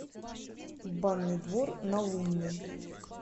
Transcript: банный двор на лунной